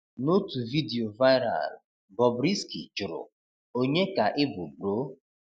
Notu vidiyo viral, Bobrisky jụrụ, Ònye ka ị bụ bro?